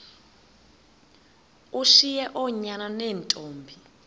ushiye oonyana neentombi